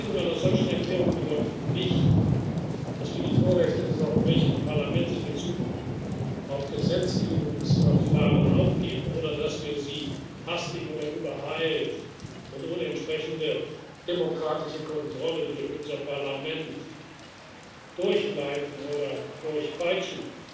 Die Verabschiedung einer solchen Erklärung bedeutet nicht, dass wir die Vorrechte des Europäischen Parlaments in Bezug auf Gesetzgebungsverfahren aufgeben oder dass wir sie hastig oder übereilt und ohne entsprechende demokratische Kontrolle durch unser Parlament durchleiten oder durchpeitschen.